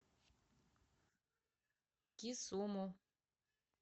кисуму